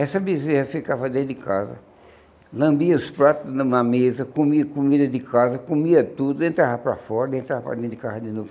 Essa bezerra ficava dentro de casa, lambia os pratos numa mesa, comia comida de casa, comia tudo, entrava para fora, entrava para dentro de casa de novo.